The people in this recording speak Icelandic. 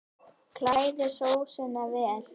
Kælið sósuna vel.